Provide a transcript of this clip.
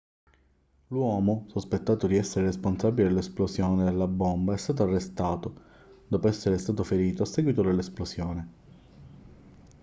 l'uomo sospettato di essere il responsabile dell'esplosione della bomba è stato arrestato dopo essere stato ferito a seguito dell'esplosione